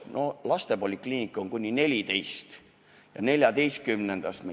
Lastepolikliinikus on vastu võetud kuni 14. eluaastani.